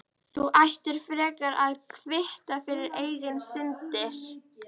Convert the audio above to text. Þú ættir frekar að kvitta fyrir eigin syndir.